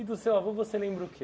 E do seu avô você lembra o quê?